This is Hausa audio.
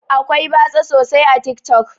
Akwai batsa sosai a tik tok.